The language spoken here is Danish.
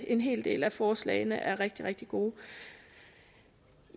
en hel del af forslagene er rigtig rigtig gode